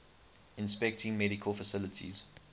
inspecting medical facilities